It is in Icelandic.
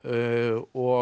og